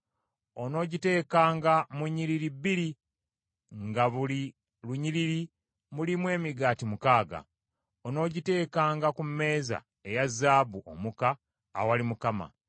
Onoogitegekanga mu nnyiriri bbiri nga mu buli lunyiriri mulimu emigaati mukaaga. Onoogiteekanga ku mmeeza eya zaabu omuka awali Mukama .